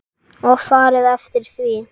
Og farið eftir því.